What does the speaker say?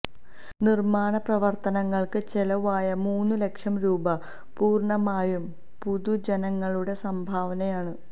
നിര്മാണ പ്രവര്ത്തനങ്ങള്ക്ക് ചെലവായ മൂന്നു ലക്ഷം രൂപ പൂര്ണമായും പൊതുജനങ്ങളുടെ സംഭാവനയാണ്